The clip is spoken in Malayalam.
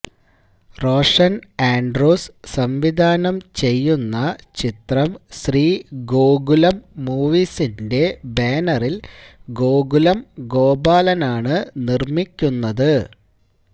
റോഷന് ആന്ഡ്രൂസ് സംവിധാനം ചെയ്യുന്ന ചിത്രം ശ്രീ ഗോകുലം മൂവീസിന്റെ ബാനറില് ഗോകുലം ഗോപാലനാണ് നിര്മ്മിക്കുന്നത്